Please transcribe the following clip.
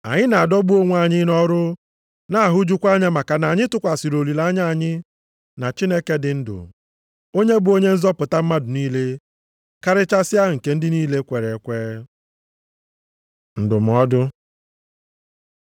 Anyị na-adọgbu onwe anyị nʼọrụ na-ahụjukwa anya maka na anyị tụkwasịrị olileanya anyị na Chineke dị ndụ, onye bụ Onye nzọpụta mmadụ niile, karịchasịa, nke ndị niile kwere ekwe. Ndụmọdụ